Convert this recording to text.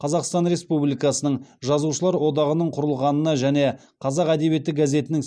қазақстан республикасының жазушылар одағының құрылғанына және қазақ әдебиеті газетінің